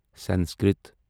Sanskrit